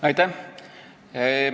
Aitäh!